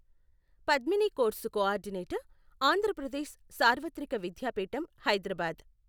Padmini course coordinator Andhra Pradesh సార్వత్రిక విద్యాపీఠం హైదరాబాద్.